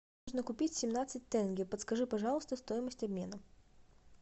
нужно купить семнадцать тенге подскажи пожалуйста стоимость обмена